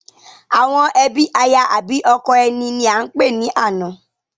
Àwọn ẹbí aya àbi ọkọ ẹni ní a ń pè ní àna